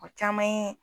O caman ye